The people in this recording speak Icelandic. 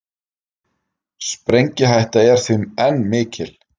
Sprengihætta er því enn mikil